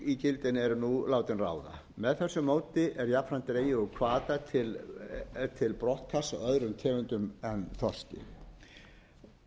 þar sem þorskígildin eru nú látin ráða með þessu móti er jafnframt dregið úr hvata til brottkasts öðrum tegundum en þorski það er von mín að